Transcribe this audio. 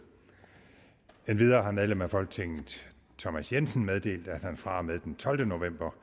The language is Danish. endvidere har medlem af folketinget thomas jensen meddelt at han fra og med den tolvte november